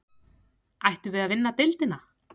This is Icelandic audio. Ættum við að vinna deildina?